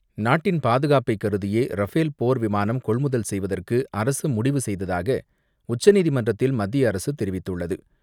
நாட்டின் பாதுகாப்பை கருதியே ரஃபேல் போர் விமானம் கொள்முதல் செய்வதற்கு அரசு முடிவு செய்ததாக உச்சநீதிமன்றத்தில் மத்திய அரசு தெரிவித்துள்ளது.